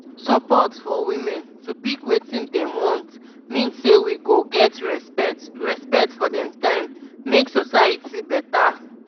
support for women to pick wetin dem want mean say we go get respect respect for dem time make society beta